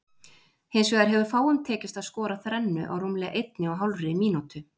Hins vegar hefur fáum tekist að skora þrennu á rúmlega einni og hálfri mínútu.